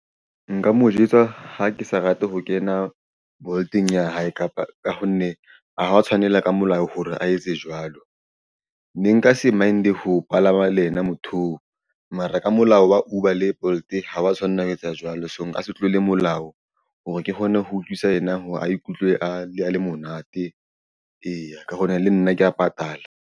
Nka mo jwetsa ha ke sa rate ho kena Bolt-eng ya hae kapa ka ho nne ho ha o tshwanela ka molao hore a etse jwalo. Ne nka se mind ho palama le yena motho oo mara ka molao wa Uber le Bolt ha ba tshwanna ho etsa jwalo. So, nka se tlola molao hore ke kgone ho utlwisa ena. Ho a ikutlwe a le monate eya ka hona le nna ke ya patala.